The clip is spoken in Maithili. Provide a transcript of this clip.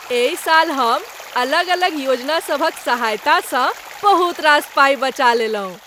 एहि साल हम अलग अलग योजना सभक सहायतासँ बहुत रास पाइ बचा लेलहुँ।